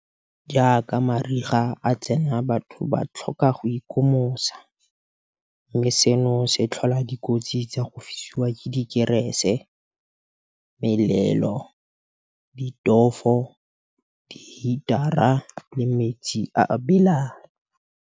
Jaaka mariga a tsena batho ba tlhoka go ikomosa, mme seno se tlhola dikotsi tsa go fisiwa ke dikerese, melelo, ditofo, dihitara le metsi a a belang.